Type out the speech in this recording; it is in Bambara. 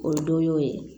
O don y'o ye